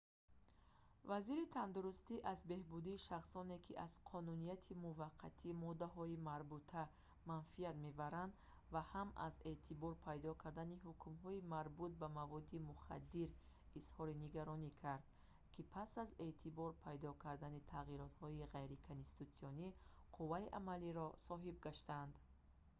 вазири тандурустӣ аз беҳбудии шахсоне ки аз қонунияти муваққатии моддаҳои марбута манфият мебаранд ва ҳам аз эътибор пайдо кардани ҳукмҳои марбут ба маводи мухаддир изҳори нигаронӣ кард ки пас аз эътибор пайдо кардани тағиротҳои ғайриконститутсионӣ қувваи амалиро соҳиб гаштанд